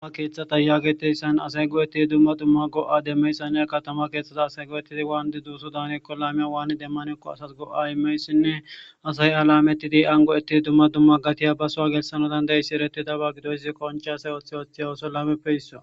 Duma keeththata yaageteyssan asay go7ettidi dumma dumma go7a demmeyssanne katama keeththaza asay go7ettidi waan di duuso daanko laamiya waani demmanekko asas go7a imeysinne asayi halametidi ango7ettidi dumma dumma gatiya basowa gelsano dandayissi eretidaba gidoysi qoncheasay oththe oththey oso lameppe hisso.